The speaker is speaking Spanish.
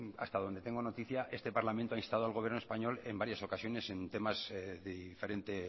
hasta donde tengo noticia este parlamento ha instado al gobierno español en varias ocasiones en temas de diferente